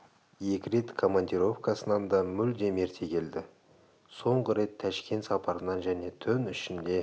екі рет командировкасынан да мүлдем ерте келді соңғы рет тәшкен сапарынан және түн ішінде